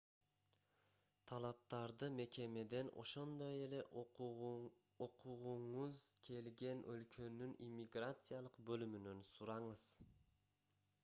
талаптарды мекемеден ошондой эле окугуңуз келген өлкөнүн иммиграциялык бөлүмүнөн сураңыз